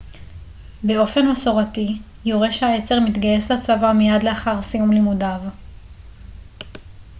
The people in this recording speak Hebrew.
באופן מסורתי יורש העצר מתגייס לצבא מיד לאחר סיום לימודיו